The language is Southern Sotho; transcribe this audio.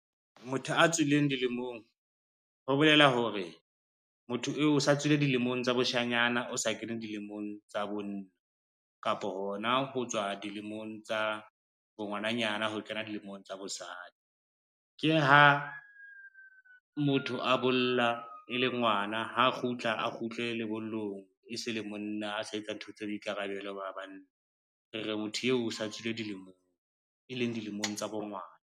Motho a tswileng dilemong, ho bolela hore motho eo o sa tswile dilemong tsa boshanyana, o sa kene dilemong tsa bonna, kapo hona ho tswa dilemong tsa bongwananyana ho kena dilemong tsa bosadi. Ke ha motho a bolla e le ngwana, ha a kgutla a kgutle lebollong e se le monna a sa etsa ntho tsa boikarabelo ba banna, re re motho eo o sa tswile dilemong, e leng dilemong tsa bo ngwana.